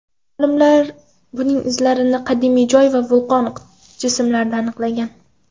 Olimlar buning izlarini qadimiy loy va vulqon jismlarida aniqlagan.